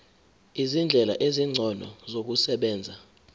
izindlela ezingcono zokusebenza